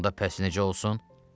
Onda bəs necə olsun?